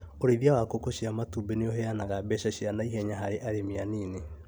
ũrĩithia wa ngũkũ cia matumbĩ nĩũheanaga mbeca cia naihenya harĩ arĩmi anini